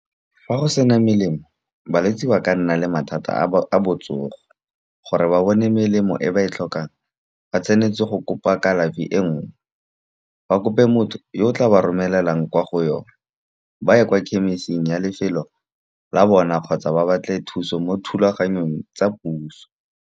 Fa go sena melemo balwetsi ba ka nna le mathata a botsogo. Gore ba bone melemo e ba e tlhokang, ba tshwanetse go kopa kalafi e nngwe, ba kope motho yo o tla ba romelelang kwa go yone. Ba ye kwa khemisiting ya lefelo la bona kgotsa ba batle thuso mo thulaganyong tsa puso.